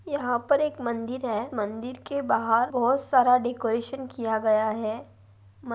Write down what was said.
यहाँ पर एक मंदिर है मंदिर के बाहर बहुत सारा डेकोरेशन किया गया है मं--